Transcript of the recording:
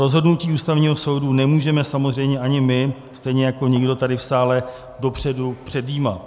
Rozhodnutí Ústavního soudu nemůžeme samozřejmě ani my, stejně jako nikdo tady v sále dopředu předjímat.